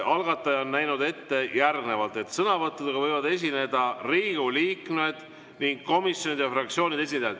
Algataja on näinud ette järgnevalt, et sõnavõtuga võivad esineda Riigikogu liikmed ning komisjonide ja fraktsioonide esindajad.